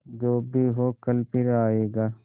जो भी हो कल फिर आएगा